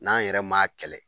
N'an yɛrɛ m'a kɛlɛ